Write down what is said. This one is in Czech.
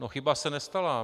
No chyba se nestala.